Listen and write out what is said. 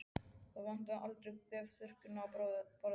Það vantaði aldrei bréfþurrkurnar á borði hans.